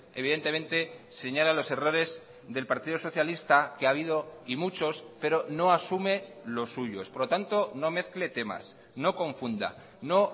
evidentemente señala los errores del partido socialista que ha habido y muchos pero no asume los suyos por lo tanto no mezcle temas no confunda no